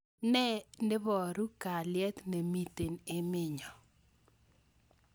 N iboru kalyet ne mitei emenyo.